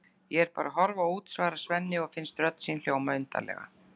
Ég er bara að horfa út, svarar Svenni og finnst rödd sín hljóma undarlega.